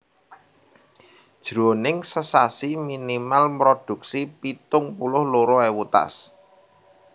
Jroning sesasi minimal mrodhuksi pitung puluh loro ewu tas